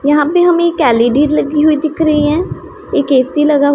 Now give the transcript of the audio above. यहां पे हमें एक एल_इ_डी लगी हुई दिख रहा हैं एक ए_सी लगा--